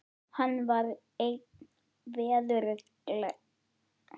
Hann var einn veðurgleggsti maður sem ég man eftir.